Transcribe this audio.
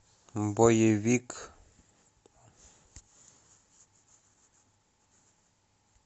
боевик